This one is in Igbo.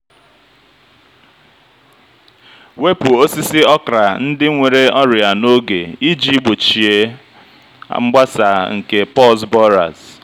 wepu osisi okra ndị nwere ọrịa n'oge iji gbochie mgbasa nke pors borers.